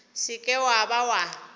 se ke wa ba wa